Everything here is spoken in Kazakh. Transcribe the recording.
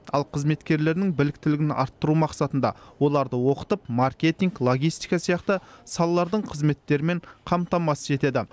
ал қызметкерлерінің біліктілігін арттыру мақсатында оларды оқытып маркетинг логистика сияқты салалардың қызметтерімен қамтамасыз етеді